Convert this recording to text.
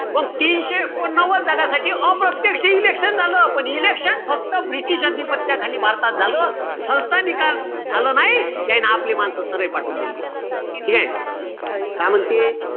मंग तीनशे एकोणनव्वद जगासाठी अप्रत्यक्ष election झालं. पण election फक्त british अधिपत्याखाली भारतात झालं. संस्थानिकांत झालं नाई, त्याईनं आपले माणसं स्वतः पाठवून दिले. ठीकेय? काय म्हणते?